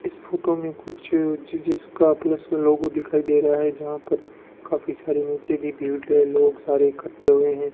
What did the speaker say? इस फोटो मे कुछ जी_जी_एस का प्लस लोगो दिखाई दे रहा है जहां पर काफी सारे नीचे भी भीड़ है लोग सारे इकट्ठे हुए है।